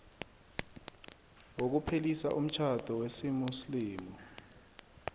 wokuphelisa umtjhado wesimuslimu